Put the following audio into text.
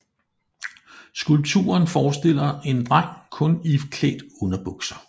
Skulpturen forestiller en dreng kun iklædt underbukser